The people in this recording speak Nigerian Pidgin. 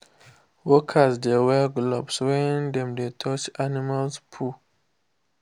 workers dey wear glove when dem dey touch animal poo.